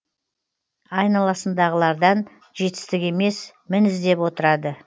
айналасындағылардан жетістік емес мін іздеп отырады